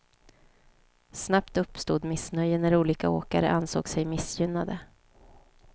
Snabbt uppstod missnöje när olika åkare ansåg sig missgynnade.